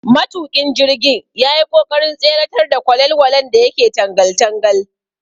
Matuƙin jirgin yayi ƙoƙarin tseratar da kwalelwalen da yake tangal tangal.